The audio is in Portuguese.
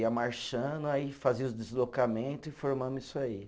Ia marchando, aí fazia os deslocamento e formamos isso aí.